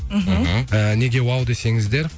мхм мхм неге вау десеңіздер